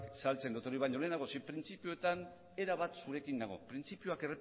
saltzen etorri baino lehenago zein printzipioetan erabat zurekin nago printzipioak